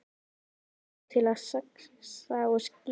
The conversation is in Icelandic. Hann notar þú til að saxa og skera.